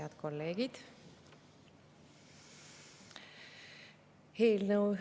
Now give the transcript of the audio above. Head kolleegid!